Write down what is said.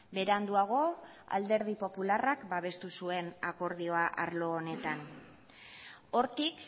beranduago alderdi popularrak babestu zuen akordioa arlo honetan hortik